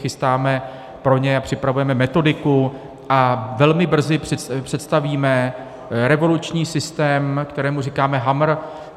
chystáme pro ně a připravujeme metodiku a velmi brzy představíme revoluční systém, kterému říkáme HAMR.